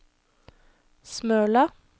Smøla